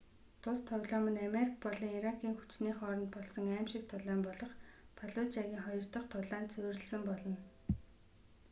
тус тоглоом нь америк болон иракийн хүчний хооронд болсон аймшигт тулаан болох фаллужагийн хоёр дах тулаанд суурьласан болно